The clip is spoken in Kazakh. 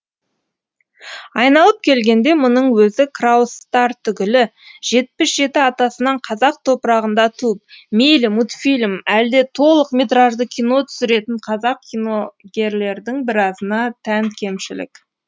айналып келгенде мұның өзі краустар түгілі жетпіс жеті атасынан қазақ топырағында туып мейлі мультфильм әлде толық метражды кино түсіретін қазақ киногерлердің біразына тән кемшілік